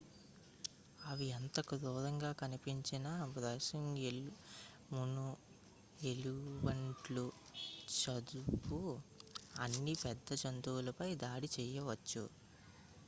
అవి ఎంత టి క్రూరంగా కనిపించినా బైసన్ ఎల్క్ మూస్ ఎలుగుబంట్లు దాదాపు అన్ని పెద్ద జంతువులపై దాడి చేయవచ్చు